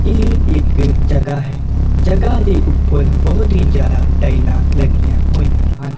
ਇਹ ਇੱਕ ਜਗਹਾ ਹੈ ਜਗਹਾ ਦੇ ਉਪਰ ਬਹੁਤ ਹੀ ਜਿਆਦਾ ਟਾਈਲਾਂ ਲੱਗੀਆਂ ਹੋਈਆਂ ਹਨ।